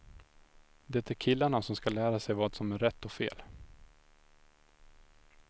Det är killarna som ska lära sig vad som rätt och fel.